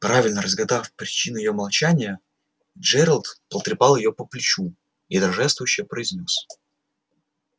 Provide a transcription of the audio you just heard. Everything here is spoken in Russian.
правильно разгадав причину её молчания джералд потрепал её по плечу и торжествующе произнёс